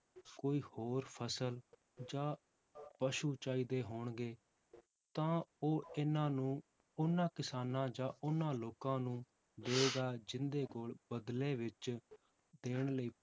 ਕੋਈ ਹੋਰ ਫਸਲ ਜਾਂ ਪਸੂ ਚਾਹੀਦੇ ਹੋਣਗੇ, ਤਾਂ ਉਹ ਇਹਨਾਂ ਨੂੰ ਉਹਨਾਂ ਕਿਸਾਨਾਂ ਜਾਂ ਉਹਨਾਂ ਲੋਕਾਂ ਨੂੰ ਦਏਗਾ ਜਿਹਦੇ ਕੋਲ ਬਦਲੇ ਵਿੱਚ ਦੇਣ ਲਈ